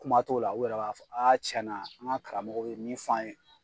Kuma t'o la, u yɛrɛ b'a fɔ tiɲɛ na an ŋa karamɔgɔ be min fɔ an ye